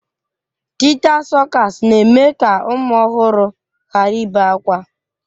Tịta sọkas na-eme ka ụmụ ọhụrụ hara ibe akwa.